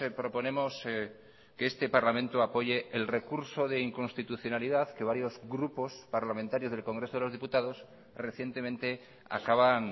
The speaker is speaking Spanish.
proponemos que este parlamento apoye el recurso de inconstitucionalidad que varios grupos parlamentarios del congreso de los diputados recientemente acaban